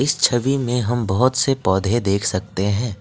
इस छवि में हम बहोत से पौधे देख सकते हैं।